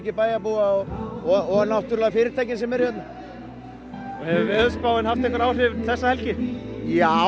bæjarbúa og fyrirtækja hérna hefur veðurspáin haft áhrif já